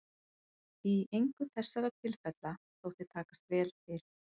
Í engu þessara tilfella þótti takast vel til.